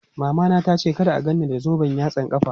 Mamana tace kada a gan ni da zoben yatsan ƙafa.